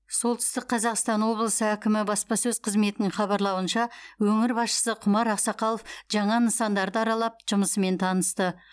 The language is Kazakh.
солтүстік қазақстан облысы әкімі баспасөз қызметінің хабарлауынша өңір басшысы құмар ақсақалов жаңа нысандарды аралап жұмысымен танысты